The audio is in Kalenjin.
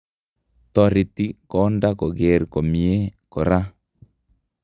Toretii kondaa kogeer komie kora